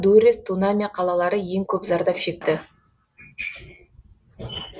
дуррес тунаме қалалары ең көп зардап шекті